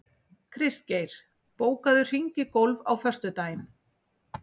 Kristgeir, bókaðu hring í golf á föstudaginn.